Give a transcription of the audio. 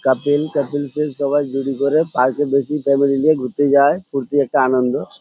কাপল couple -কে সবাই জুড়ি করে পার্ক -এ বেশি ফ্যামিলি লিয়ে ঘুরতে যায় ফুর্তি একটা আনন্দ।